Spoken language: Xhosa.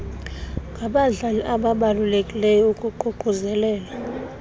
ngabadlali ababalulekileyo ukuququzelela